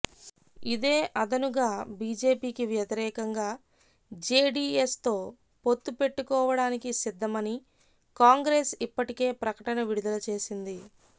ఇదే అదనుగా బిజెపికి వ్యతిరేకంగా జేడీఎస్ తో పొత్తుపెట్టుకోవడానికి సిద్ధమని కాంగ్రెస్ ఇప్పటికే ప్రకటన విడుదల చేసింది